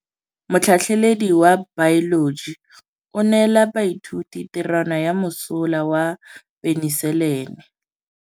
Motlhatlhaledi wa baeloji o neela baithuti tirwana ya mosola wa peniselene.